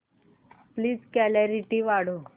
please clarity वाढव